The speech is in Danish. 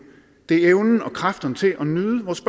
er evnen og kræfterne til at nyde vores